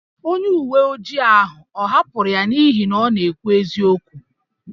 Onye uwe ojii ahụ ọ̀ hapụrụ ya n’ihi na ọ na-ekwu eziokwu?